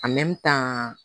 tan